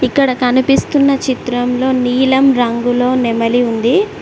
ఇక్కడ కనిపిస్తున్న చిత్రంలో నీలం రంగులో నెమలి ఉంది.